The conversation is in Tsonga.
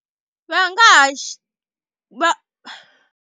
Va nga ha xi va.